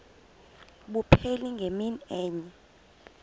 abupheli ngemini enye